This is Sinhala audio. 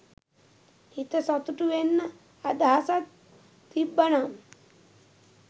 හිත සතු‍ටු වෙන්ඩ අදහසක් තිබ්බනම්